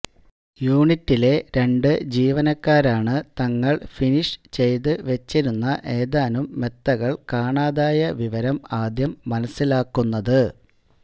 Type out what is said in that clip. യൂണിറ്റിലെ രണ്ടു ജീവനക്കാരാണ് തങ്ങള് ഫിനിഷ് ചെയ്ത് വച്ചിരുന്ന ഏതാനും മെത്തകള് കാണാതായ വിവരം ആദ്യം മനസ്സിലാക്കുന്നത്